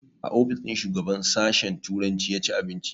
A ofis ɗin shugaban sashen turanci ya ci abinci